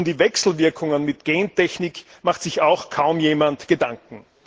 Und um die Wechselwirkungen mit Gentechnik macht sich auch kaum jemand Gedanken.